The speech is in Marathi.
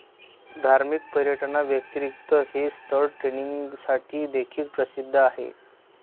धार्मिक पर्यटनाव्यतिरिक्त हे स्थळ ट्रेकिंगसाठी देखील प्रसिद्ध आहे